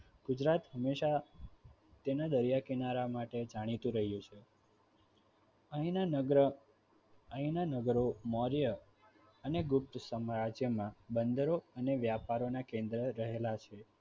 ગુજરાત હંમેશા તેના દરિયા કિનારા માટે જાણીતુ રહ્યું છે. અહીંના નગર અહિંના નગરો મૌર્ય અને ગુપ્ત સામ્રાજ્યમાં બંદરો અને વ્યાપારનાં કેન્દ્રો રહેલા છે.